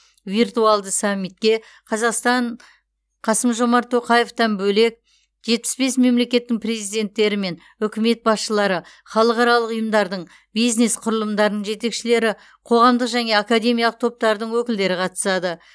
виртуалды саммитке қазақстан қасым жомарт тоқаевтан бөлек жетпіс бес мемлекеттің президенттері мен үкімет басшылары халықаралық ұйымдардың бизнес құрылымдарының жетекшілері қоғамдық және академиялық топтардың өкілдері қатысады